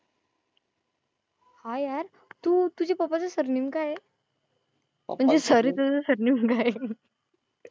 हा यार, तू तुझे पप्पाचं सरनेम काय आहे? म्हणजे सॉरी तुझं सरनेम काय आहे?